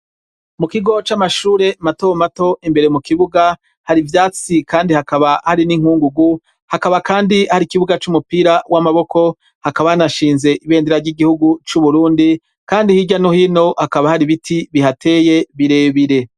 Mu kigo c'amashure matomato imbere mu kibuga hari ivyatsi kandi hakaba hari n'inkungugu, hakaba kandi hari ikibuga c'umupira w'amaboko, hakaba hanashinze ibendera ry'igihugu c'Uburundi, kandi hirya no hino hakaba hari ibiti bihateye birebire.